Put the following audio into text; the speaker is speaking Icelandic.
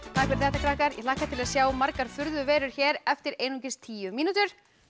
takk fyrir þetta krakkar ég hlakka til að sjá margar furðuverur hér eftir einungis tíu mínútur